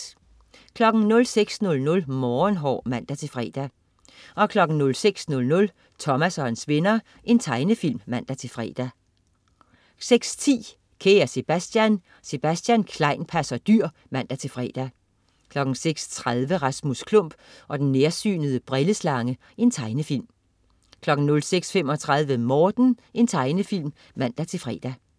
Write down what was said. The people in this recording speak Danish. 06.00 Morgenhår (man-fre) 06.00 Thomas og hans venner. Tegnefilm (man-fre) 06.10 Kære Sebastian. Sebastian Klein passer dyr (man-fre) 06.30 Rasmus Klump og den nærsynede brilleslange. Tegnefilm 06.35 Morten. Tegnefilm (man-fre)